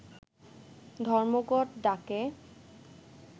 ধর্মঘট ডাকে